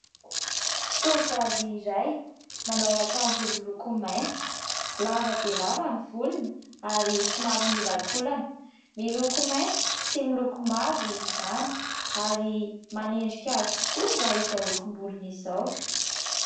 Tovovavy iray manao akanjo miloko mainty, lava dia lava ny volony ary somary miolankolana. Miloko mainty sy miloko mavo izany ary manendrika azy tokoa raha izao lokom-bolony izao.